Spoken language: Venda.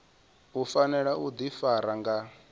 u fanela u ḓifara nga